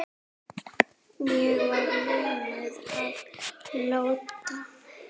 Ég var lömuð af ótta.